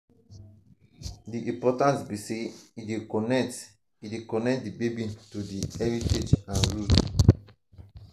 di importance be say e dey connect e dey connect di baby to di heritage and roots.